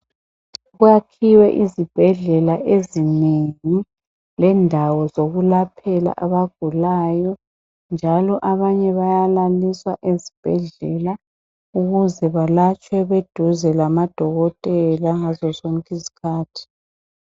Kuyakhiwe izibhedlela ezinengi lendawo zokulaphela abagulayo njalo abanye bayalaliswa ezibhedlela ukuze balatshwe beduze labodokotela ngazozonke izikhathi.